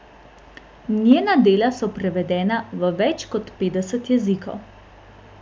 Njena dela so prevedena v več kot petdeset jezikov.